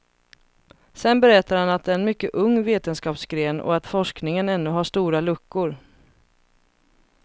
Sedan berättar han att det är en mycket ung vetenskapsgren och att forskningen ännu har stora luckor.